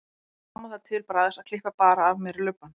Þá tók mamma það til bragðs að klippa bara af mér lubbann.